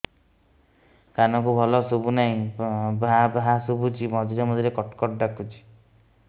କାନକୁ ଭଲ ଶୁଭୁ ନାହିଁ ଭାଆ ଭାଆ ଶୁଭୁଚି ମଝିରେ ମଝିରେ କଟ କଟ ଡାକୁଚି